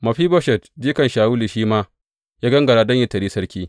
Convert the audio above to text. Mefiboshet, jikan Shawulu, shi ma ya gangara don yă taryi sarki.